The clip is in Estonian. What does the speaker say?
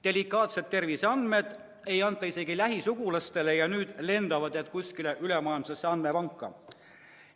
" Delikaatseid terviseandmeid ei anta isegi lähisugulastele, aga nüüd lendavad need kuskile ülemaailmsesse andmepanka!